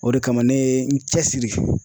O de kama ne ye n cɛsiri.